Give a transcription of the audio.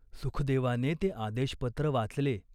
सुखदेवाने ते आदेशपत्र वाचले.